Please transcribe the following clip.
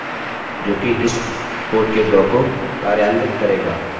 अतः चलिए रिफ्रेश करें और आपको यह मिला alex एको हुआ है